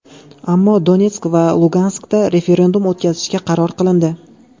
Ammo Donetsk va Luganskda referendum o‘tkazishga qaror qilindi.